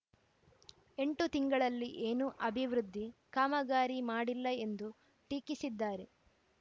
ಎಂಟು ತಿಂಗಳಲ್ಲಿ ಏನೂ ಅಭಿವೃದ್ಧಿ ಕಾಮಗಾರಿ ಮಾಡಿಲ್ಲ ಎಂದು ಟೀಕಿಸಿದ್ದಾರೆ